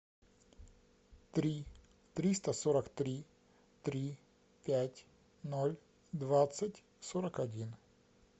три триста сорок три три пять ноль двадцать сорок один